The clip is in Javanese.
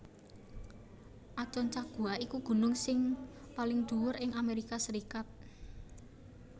Aconcagua iku gunung sing paling dhuwur ing Amérika